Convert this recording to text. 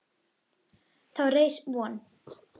Þá reis von